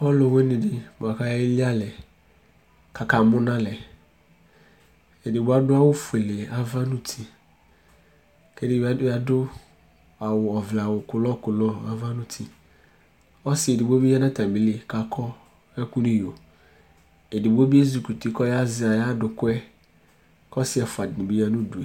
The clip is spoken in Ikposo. ɔlowini di boa ko aye li alɛ ko aka mo no alɛ edigbo ado awu fuele ava no uti ko edigbo bi ado awu ɔvlɛ awu kɔla kɔla ava no uti ɔse edigbo bi ya no atami li ko akɔ ɛko no iyo edigbo bi ezi kuti ko ɔya zɛ ayi adokoɛ ko ɔse ɛfoa di ni bi ya no udue